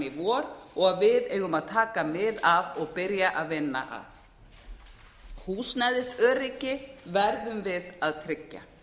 í vor og við eigum að taka mið af og byrja að vinna að húsnæðisöryggi verðum við að tryggja